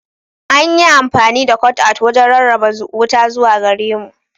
An yi amfani da "cutout" wajen rarraba wuta zuwa gare mu.